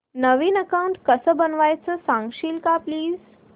नवीन account कसं बनवायचं सांगशील का प्लीज